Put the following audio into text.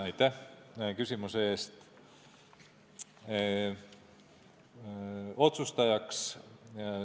Aitäh küsimuse eest!